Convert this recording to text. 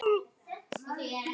spurði Solla.